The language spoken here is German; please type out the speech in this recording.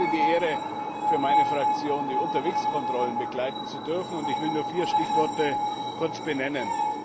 Ich selbst hatte die Ehre, für meine Fraktion die Unterwegskontrollen begleiten zu dürfen, und ich will nur kurz vier Stichworte nennen.